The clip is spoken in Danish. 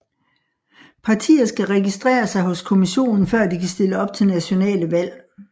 Partier skal registrere sig hos kommissionen før de kan stille op til nationale valg